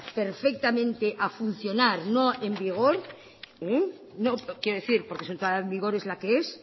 perfectamente a funcionar no en vigor quiero decir porque su entrada en vigor es la que es